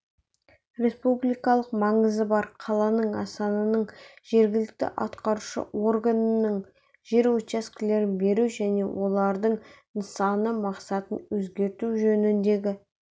республикалық маңызы бар қаланың астананың жергілікті атқарушы органының жер учаскелерін беру және олардың нысаналы мақсатын өзгерту жөніндегі